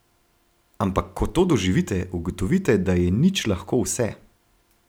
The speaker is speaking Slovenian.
Ampak ko to doživite, ugotovite, da je nič lahko vse.